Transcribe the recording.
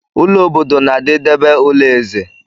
Ụlọ obodo na-adị debe ụlọ ezé.